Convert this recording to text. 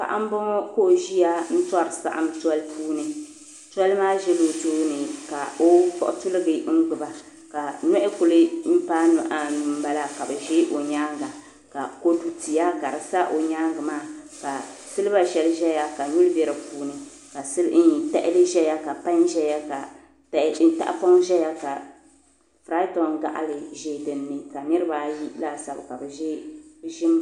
Paɣa m-bɔŋɔ ka o ʒiya tɔri saɣim toli puuni toli maa zala o tooni ka o kpuɣi tiligi n-gbubi ka nɔhi kuli paai nɔh' anu m-bala ka bɛ ʒi o nyaaŋa ka kɔdu tia sa o nyaaŋa ka siliba shɛli zaya ka nyuli be di puuni ka tahili zaya ka pai zaya ka tahipɔŋ zaya ka furaitɔŋ gaɣili ʒi din ni ka niriba ayi laasabu ka bɛ ʒi